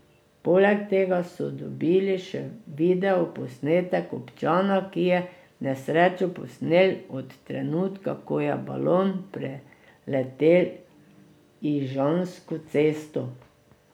Poleg tega so dobili še video posnetek občana, ki je nesrečo posnel od trenutka, ko je balon preletel Ižansko cesto.